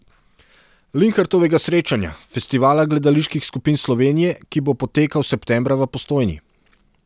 Linhartovega srečanja, festivala gledaliških skupin Slovenije, ki bo potekal septembra v Postojni.